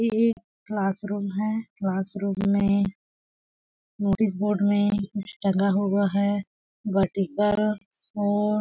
ये एक class room है क्लास रूम में नोटिस बोर्ड में कुछ टंगा हुआ है फॉर --